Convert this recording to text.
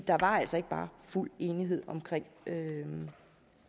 der var altså ikke bare fuld enighed om